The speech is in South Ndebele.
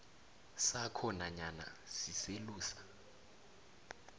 sakho nanyana siselusa